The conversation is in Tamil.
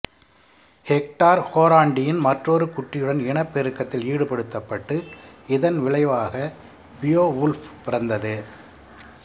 ஹெக்டார் ஹோராண்டின் மற்றொரு குட்டியுடன் இனப் பெருக்கத்தில் ஈடுபடுத்தப்பட்டு இதன் விளைவாக பியோவுல்ஃப் பிறந்தது